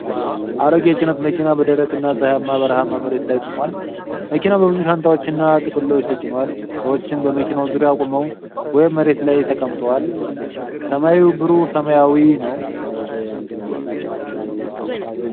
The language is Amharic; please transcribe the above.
አሮጌ የጭነት መኪና በደረቅና ፀሐያማ በረሃማ መሬት ላይ ቆሟል። መኪናው በብዙ ሻንጣዎችና ጥቅሎች ተጭኗል፤ ሰዎችም በመኪናው ዙሪያ ቆመው ወይም መሬት ላይ ተቀምጠዋል። ሰማዩ ብሩህ ሰማያዊ ነው።